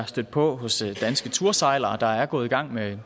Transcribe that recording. stødt på hos danske tursejlere der er gået i gang med